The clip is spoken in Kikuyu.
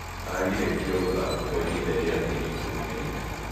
Agirĩtio gũthaka kwa ihinda rĩa mĩeri 14.